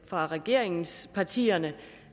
fra regeringspartierne